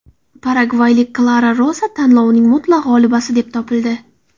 Paragvaylik Klara Rosa tanlovning mutlaq g‘olibasi deb topildi.